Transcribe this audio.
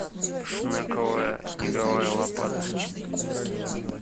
шнековая снеговая лопата